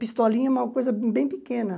Pistolinha é uma coisa bem pequena.